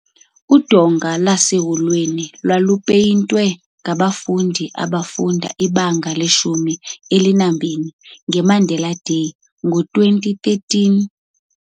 Udonga ngaseholweni lwalupayintiwe ngabafundi ababefunda ibanga leshumi elinambini nge Mandela Day ngo 2013.